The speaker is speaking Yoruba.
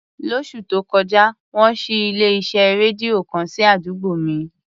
Lóṣù tó kọjá, wọ́n ṣí ilé-iṣẹ́ rédíò kan sí àdúgbò mi.